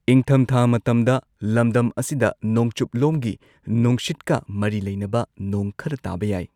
ꯏꯪꯊꯝꯊꯥ ꯃꯇꯝꯗ ꯂꯝꯗꯝ ꯑꯁꯤꯗ ꯅꯣꯡꯆꯨꯞꯂꯣꯝꯒꯤ ꯅꯨꯡꯁꯤꯠꯀ ꯃꯔꯤ ꯂꯩꯅꯕ ꯅꯣꯡ ꯈꯔ ꯇꯥꯕ ꯌꯥꯏ꯫